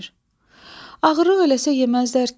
Ağırlıq eləsə yeməzdilər ki.